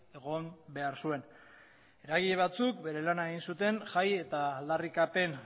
egon behar zuen eragile batzuk bere lana egin zuten jai eta aldarrikapen